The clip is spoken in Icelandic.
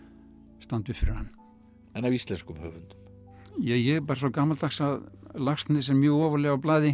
standa upp fyrir hann en af íslenskum höfundum ég er bara svo gamaldags að Laxness er mjög ofarlega á blaði